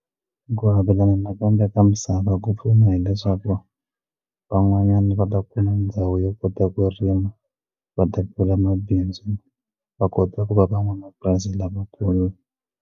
Ku avelana nakambe ka misava ku pfuna hileswaku van'wanyana va ta kula ndhawu yo kota ku rima va ta pfula mabindzu va kota ku va van'wamapurasi lavakulu.